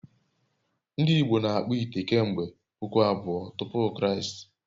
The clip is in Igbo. ndị Igbo n'akpu ite kemgbe puku abụọ tupu Kraịst